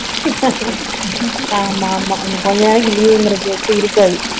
ஆமாம் ஆமாம் இன்னும் கொஞ்ச நாளைக்கு leave ங்கற பேச்சே இருக்காது